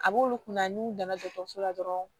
A b'olu kunna n'u nana dɔgɔtɔrɔso la dɔrɔn